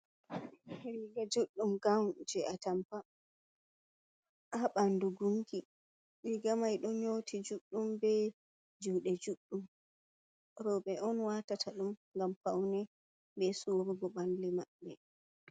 Riga juɗɗum gawun je atampa a bandu gunki riga mai don nyoti juddum be jude juɗɗum rewbe on wata ta dum gam faune be surugo bandu mabbe.